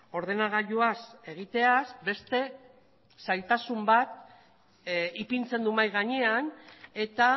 ordenagailuaz egiteaz beste zailtasun ipintzen du mahai gainean eta